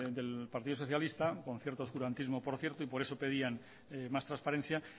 del partido socialista con cierto oscurantismo por cierto y por eso pedían más transparencia